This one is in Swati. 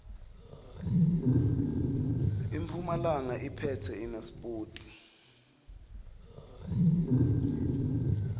impumalanga iphetse inasipoti